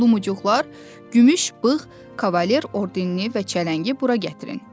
Lumucuqlar, gümüş bığ Kavalier Ordenini və çələngi bura gətirin.